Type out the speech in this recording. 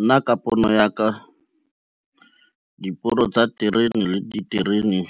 Nna ka pono ya ka, diporo tsa terene le diterene